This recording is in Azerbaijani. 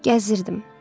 Gəzirdim.